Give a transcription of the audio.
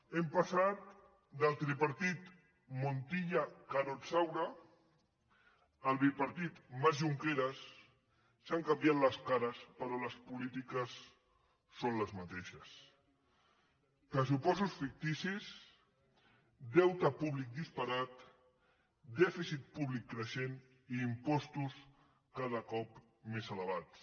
hem passat del tripartit montilla carod saura al bipartit mas junqueras han canviat les cares però les polítiques són les mateixes pressupostos ficticis deute públic disparat dèficit públic creixent i impostos cada cop més elevats